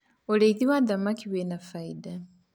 ũrĩithi wa thamakĩ wina baida